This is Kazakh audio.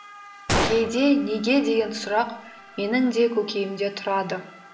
кейде неге деген сұрақ менің де көкейімде тұрады